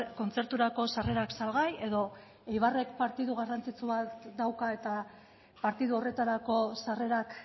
kontzerturako sarrerak salgai edo eibarrek partidu garrantzitsu bat dauka eta partidu horretarako sarrerak